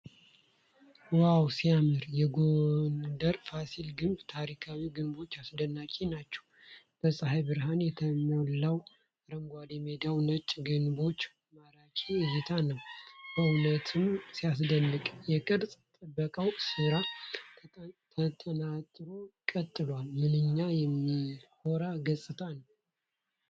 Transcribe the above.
ዋው ሲያምር! የጎንደር ፋሲል ግቢ ታሪካዊ ግንቦች አስደናቂ ናቸው። በፀሐይ ብርሃን የለመለመው አረንጓዴ ሜዳና ነጭ ግንቦች ማራኪ እይታ ነው። በእውነትም ሲያስደንቅ! የቅርስ ጥበቃው ሥራ ተጠናክሮ ቀጥሏል። ምንኛ የሚያኮራ ገጽታ ነው!